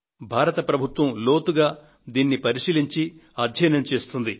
భారతదేశ ప్రభుత్వం లోతుగా దీనిని పరిశీలించి అధ్యయనం చేస్తుంది